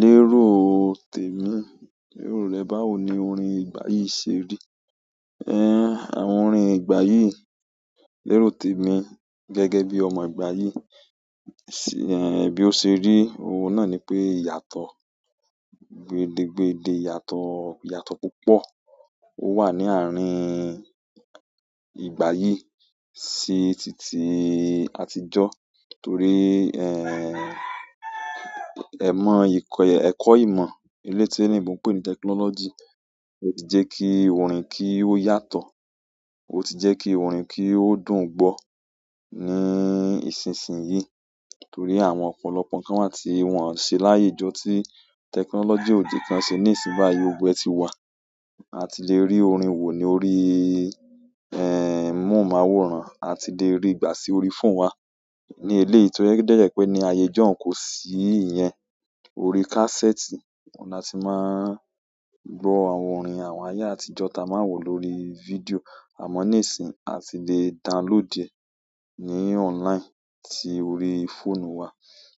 Lérò tèmi. Lérò rẹ, báwo ni orin ìgbà yìí ṣe rí? Àwọn orin ìgbà yìí lérò tèmi gẹ́gẹ́ bí ọmọ ìgbà yìí, sí ehn bí ó ṣe rí òun náà ni pé ìyàtọ̀, gbede gbede ìyàtọ̀ ìyàtọ̀ púpọ̀ ó wà ní àárín ìgbà yìí sí titi àtijọ́. Torí ẹ̀mọ̀ ìkọ̀ ẹ̀kọ́ ìmọ̀ eléyìí tí olóyìnbó ń pè nì technology ó ti jẹ́ kí orin kí ó yàtọ̀, ó ti jẹ́ kí orin kí ó dùn gbọ́ ní ìsinsìnyí. Torí àwọn ọ̀pọ̀lọpọ̀ nǹkan wá tí wọn ò ṣe láyé ijó tí technology òdì kan ṣe ní ìsìn báa yó. Gbogbo ẹ̀ ti wà. A ti lè rí orin wò ní orí móhùnmáwòrán, a ti lè ríi gbà sí orí fóònù wa ní eléyìí to jẹ́ pé dẹ̀ jẹ́ pé ní ayé ijó n kò sí ìyẹn orí kásẹ́ẹ̀tì, wọ́n la ti máa n gbọ́ àwọn orin àwọn ayé àtijọ́ ta máa wọ̀ lórí fídíò àmọ́ níìsín a ti lè download ẹ̀ ní online sí orí fóònù wa.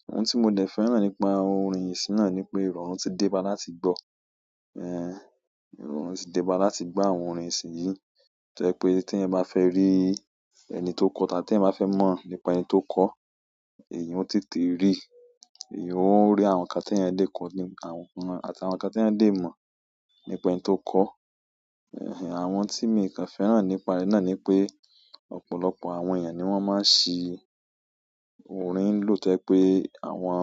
Ohun tí mo dẹ̀ fẹ́ràn nípa orin ìsìnyí náà ni pé ìrọ̀rùn ti déba láti gbọ́. Eh, ìrọ̀rùn ti déba láti gbọ́ àwọn orin ìsìn yìí. Tó jẹ́ pé téèyàn bá fẹ́ rí ẹni tó kọọ́, tà téèyàn bá fẹ́ mọ̀ nípa ẹni tó kọọ́, èyìn ó tètè ríi. Èèyàn ó rí àwọn nǹkan tí ẹni dé kọ ní àwọn àti àwọn nǹkan tí ẹni dé mọ̀ nípa ẹni tó kọ́. Àwọn tí miì kàn fẹ́ràn nípa rẹ̀ náà ni pé ọ̀pọ̀lọpọ̀ àwọn èèyàn ni wọ́n máa ń ṣi orin lò. Tó jẹ́ pé àwọn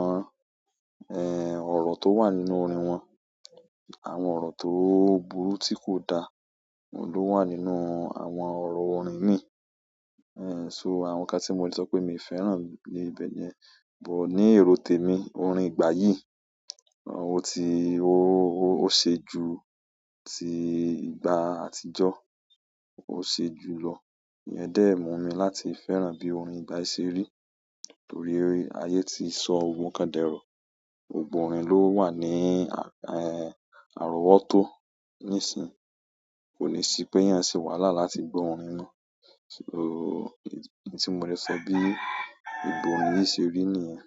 ọ̀rọ̀ tó wà nínú orin wọn, àwọn ọ̀rọ̀ tó burú tí kò dáa òun ló wà nínú àwọn ọ̀rọ̀ orin míì. So àwọn nǹkan tí mo lè sọ pé miì fẹ́ràn ni ibẹ̀ nìyẹn. But ní èrò tèmi, orin ìgbà yìí, ó ti ó ó ṣe ju ti ìgbà àtijọ́, ó ṣe jùú lọ. Ìyẹn dẹ̀ mú mi láti fẹ́ràn bí orin ìgbà yìí ṣe rí. Torí ayé ti sọ gbogbo nǹkan d'ẹ̀rọ̀. Gbogbo orin ló wà ní àrọ́wọ́tó níìsín, kò ní sí pééyàn ṣe wàhálà láti gbọ́ orin mọ́. So, èyí tí mo ti lè sọ bí ìbò orin yìí ṣe rí nìyẹn.